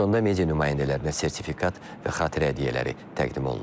Sonda media nümayəndələrinə sertifikat və xatirə hədiyyələri təqdim olunub.